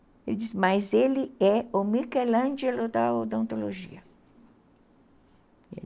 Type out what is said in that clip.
Ele disse, mas ele é o Michelangelo da odontologia.